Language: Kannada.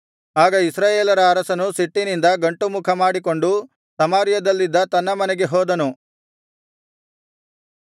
ಆಗ ಇಸ್ರಾಯೇಲರ ಅರಸನು ಸಿಟ್ಟಿನಿಂದ ಗಂಟುಮುಖ ಮಾಡಿಕೊಂಡು ಸಮಾರ್ಯದಲ್ಲಿದ್ದ ತನ್ನ ಮನೆಗೆ ಹೋದನು